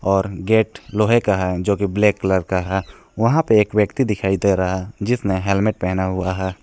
और गेट लोहे का है जो की ब्लैक कलर का है वहां पे एक व्यक्ति दिखाई दे रहा है जिसने हेलमेट पहना हुआ है।